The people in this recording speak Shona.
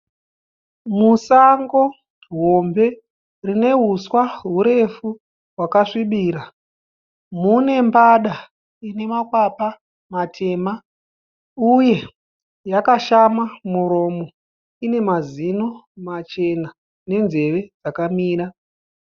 Musango hombe rine huswa hurefu hwakasvibira mune mbada ine makwapa matema uye yakashama muromo. Ine mazino machena nenzeve dzakamira.